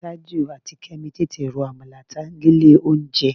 Tájù àti Kẹ́mi tètè ro àmàlà tán ni ilé-olóunjẹ